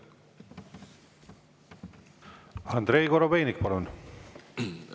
Andrei Korobeinik, palun!